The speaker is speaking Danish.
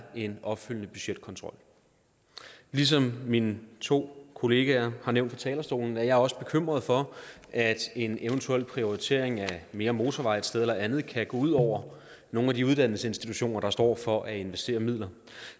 en opfølgende budgetkontrol ligesom mine to kollegaer har nævnt det fra talerstolen er jeg også bekymret for at en eventuel prioritering af mere motorvej et sted eller et andet kan gå ud over nogle af de uddannelsesinstitutioner der står for at investere midler